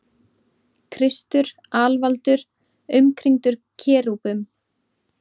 Kristur alvaldur umkringdur kerúbum.